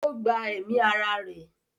ó gba ẹ̀mí ara rẹ̀.